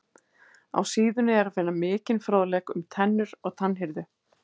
Á síðunni er að finna mikinn fróðleik um tennur og tannhirðu.